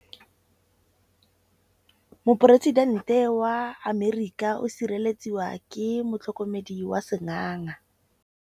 Poresitêntê wa Amerika o sireletswa ke motlhokomedi wa sengaga.